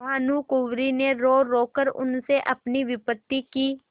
भानुकुँवरि ने रोरो कर उनसे अपनी विपत्ति की